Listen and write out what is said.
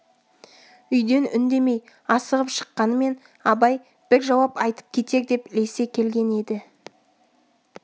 үйден үндемей асығып шыққанымен абай бір жауап айтып кетер деп ілесе келген еді